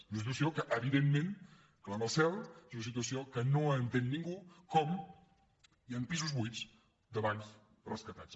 és una situació que evidentment clama al cel és una situació que no entén ningú com és que hi han pisos buits de bancs rescatats